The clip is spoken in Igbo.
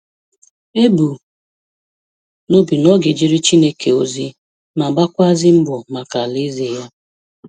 E bu n’obi na ọ ga ejere Chineke ozi ma gbakwuazi mbọ maka Alaeze Ya.